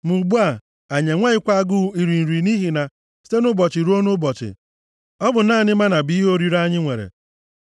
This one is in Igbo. Ma ugbu a, anyị enweghịkwa agụụ iri nri, nʼihi na site nʼụbọchị ruo nʼụbọchị, ọ bụ naanị mánà bụ ihe oriri anyị nwere.”